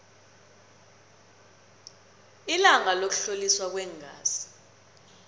ilanga lokuhloliswa kweengazi